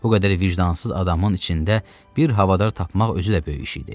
Bu qədər vicdansız adamın içində bir havadar tapmaq özü də böyük iş idi.